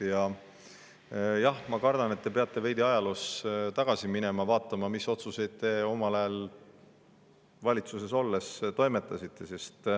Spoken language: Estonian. Aga jah, ma kardan, et te peate veidi ajaloos tagasi minema, vaatama, mis otsuseid te omal ajal valitsuses olles tegite.